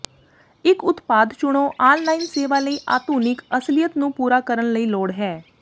ਇਕ ਉਤਪਾਦ ਚੁਣੋ ਆਨਲਾਈਨ ਸੇਵਾ ਲਈ ਆਧੁਨਿਕ ਅਸਲੀਅਤ ਨੂੰ ਪੂਰਾ ਕਰਨ ਲਈ ਲੋੜ ਹੈ